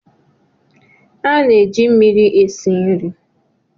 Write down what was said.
A na-eji mmiri esi nri.